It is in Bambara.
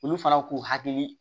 Olu fana k'u hakili